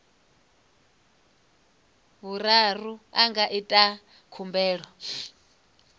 vhuraru a nga ita khumbelo